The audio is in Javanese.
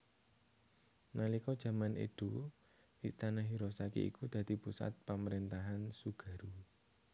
Nalika jaman Edo Istana Hirosaki iku dadi pusat pamrentahan Tsugaru